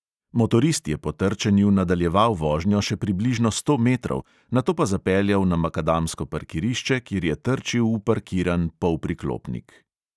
Motorist je po trčenju nadaljeval vožnjo še približno sto metrov, nato pa zapeljal na makadamsko parkirišče, kjer je trčil v parkiran polpriklopnik.